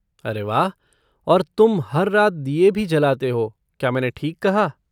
अरे वाह! और तुम हर रात दिये भी जलाते हो, क्या मैंने ठीक कहा?